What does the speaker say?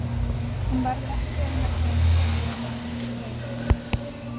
Hún verður ekki ein af þeim sem ég nafngreini.